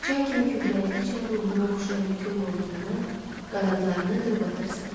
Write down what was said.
Çay kimi köhnəldikcə ruhunu oxşayan bütün qollarını, qanadlarını qırıb atırsan.